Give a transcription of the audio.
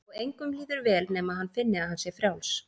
Og engum líður vel nema hann finni að hann sé frjáls.